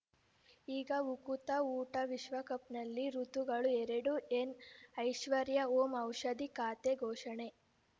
ಈಗ ಉಕುತ ಊಟ ವಿಶ್ವಕಪ್‌ನಲ್ಲಿ ಋತುಗಳು ಎರಡು ಏನ ಐಶ್ವರ್ಯಾ ಓಂ ಔಷಧಿ ಖಾತೆ ಘೋಷಣೆ